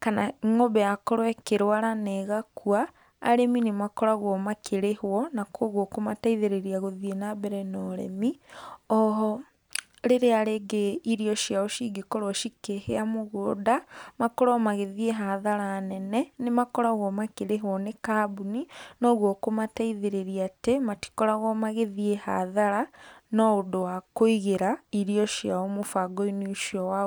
kana ngombe yakorwo ĩkĩrũara na ĩgakũa, arĩmĩ nĩ makoragwo makĩrĩhwo na kwogwo kũmateithĩrĩrĩa gũthie na mbere na ũrĩmi. Oho rĩrĩa rĩngĩ irio ciao cingĩkorwo cikĩhĩa mũgũnda makorwo magĩthĩe hathara nene nĩ makoragwo makĩrĩhwo nĩ kambũni na ũgwo kũmateĩthĩrĩrĩa atĩ matĩkoragwo magĩthie hathara no ũndũ wa kũigĩra irio ciao mũbango inĩ ũcio wao.